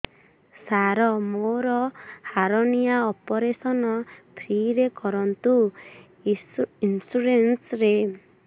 ସାର ମୋର hernia operation free ରେ କରନ୍ତୁ ଇନ୍ସୁରେନ୍ସ ରେ